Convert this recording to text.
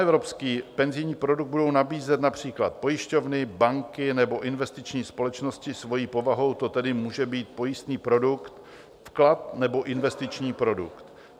Panevropský penzijní produkt budou nabízet například pojišťovny, banky nebo investiční společnosti, svojí povahou to tedy může být pojistný produkt, vklad nebo investiční produkt.